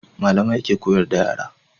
Malamai ke koyar da yara